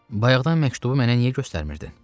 Bayaqdan məktubu mənə niyə göstərmirdin?